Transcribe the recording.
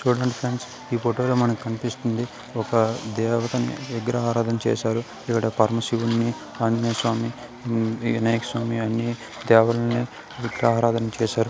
చూడండి ఫ్రెండ్స్ ఈ ఫోటో లో మనకి కనిపిస్తుంది ఒక దేవకన్య విగ్రహారాధన చేసారు ఇక్కడ ఒక పరమ శివుడ్ని ఆంజనేయ స్వామిని వినాయక స్వామి అన్నీ దేవకన్యలుని విగ్రహదారణ చేసారు.